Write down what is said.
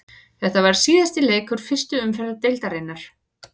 Þetta var síðasti leikur fyrstu umferðar deildarinnar.